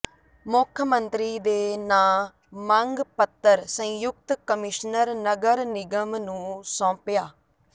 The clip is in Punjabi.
ਮੁੱਖ ਮੰਤਰੀ ਦੇ ਨਾਂਅ ਮੰਗ ਪੱਤਰ ਸੰਯੁਕਤ ਕਮਿਸ਼ਨਰ ਨਗਰ ਨਿਗਮ ਨੂੰ ਸੌਾਪਿਆ